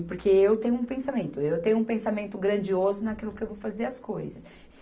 E porque eu tenho um pensamento, eu tenho um pensamento grandioso naquilo que eu vou fazer as coisas.